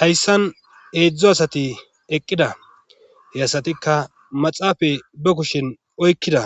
Hayssan eedzdzo asati eqqida he asatikka maxaafay ba kushin oykkida